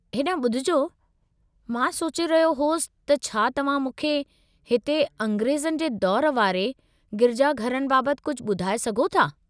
हेॾांहुं ॿुधिजो, मां सोचे रहियो होसि त छा तव्हां मूंखे हिते अंग्रेज़नि जे दौर वारे गिरिजाघरनि बाबति कुझु ॿुधाए सघो था?